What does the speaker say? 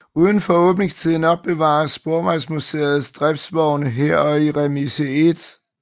Udenfor åbningstiden opbevares Sporvejsmuseets driftsvogne her og i Remise 1